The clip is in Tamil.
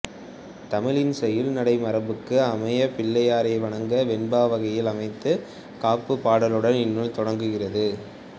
தமிழின் செய்யுள் நடை மரபுக்கு அமைய பிள்ளையாரை வணங்கி வெண்பா வகையில் அமைந்த காப்புப்பாடலுடன் இந்நூல் தொடங்குகிறது